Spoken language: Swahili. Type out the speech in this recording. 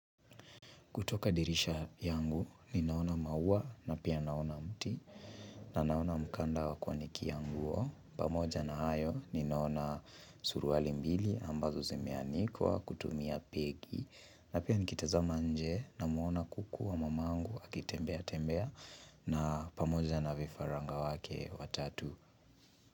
Kutoka dirisha yangu, ninaona maua na pia naona mti. Na naona mkanda wa kuanikia nguo. Pamoja na hayo, ninaona suruali mbili ambazo zimeanikwa kutumia pegi. Na pia nikitazama nje namuona kuku wa mamangu akitembea tembea. Na pamoja na vifaranga wake watatu.